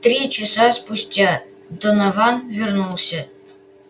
три часа спустя донован вернулся